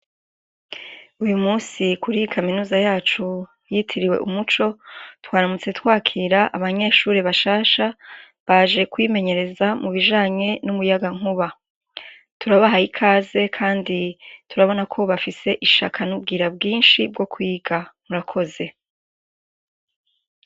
Uyu musi kuri i kaminuza yacu yitiriwe umuco twaramutse twakira abanyeshuri bashasha baje kwimenyereza mu bijanye n'umuyaga nkuba turabahaye ikaze, kandi turabona ko ubafise ishaka n'ubwira bwinshi bwo kwiga murakoze.